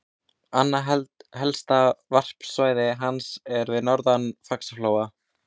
Annað helsta varpsvæði hans er við norðanverðan Faxaflóa.